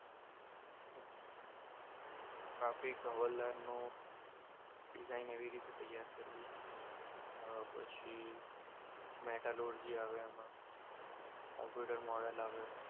traffic હવાલદારનો design એવી રીતે તૈયાર કરવું અમ પછી મેટા લોડ જે આવે એમાં કોમ્પ્યુટર મોડલ આવે